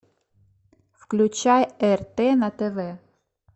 включай рт на тв